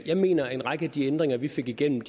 jeg mener at en række af de ændringer vi fik igennem